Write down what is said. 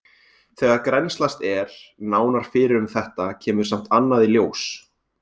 Þegar grennslast er nánar fyrir um þetta kemur samt annað í ljós.